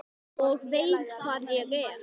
Og veit hvar ég er.